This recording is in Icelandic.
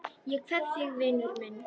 Ég kveð þig vinur minn.